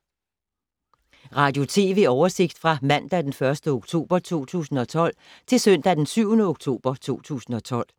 Radio/TV oversigt fra mandag d. 1. oktober 2012 til søndag d. 7. oktober 2012